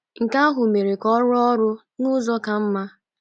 Nke ahụ mere ka ọ rụọ ọrụ n’ụzọ ka mma.